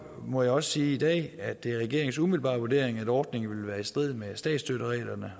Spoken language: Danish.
må jeg også sige i dag at det er regeringens umiddelbare vurdering at ordningen vil være i strid med statsstøttereglerne